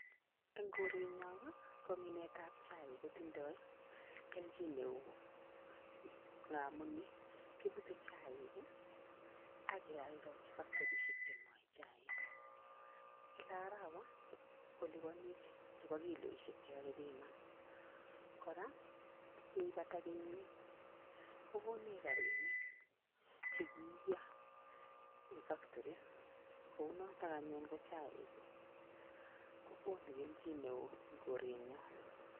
Enn korenyon Ii ko minetab chaik kotindoi keljin neoo ngamun ii kibute chaik ii ak iyoldoji factorisiek che ngoe chaik, kila arawa kolibonej chebo kiloisiek che kakibiman, kora ye ibata kenyit kokonech Rabinik che ki iyo enn factory kou notok anyun ko chaik kokonu keljin neo enn korenyon.